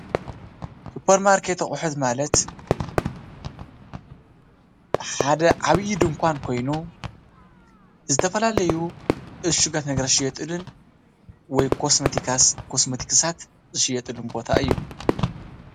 ሱፐርማርኬት ኣቁሑት ማለት ሓደ ዓብዪ ድንኳን ኮይኑ ዝተፈላለዩ እሹጋት ነገራት ዝሽየጡሉን ወይ ኮስመቲክሳት ዝሽየጡሉ ቦታ እዩ።